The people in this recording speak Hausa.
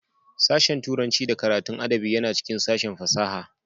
Sashen Turanci da karatun adabi yana cikin sashen fasaha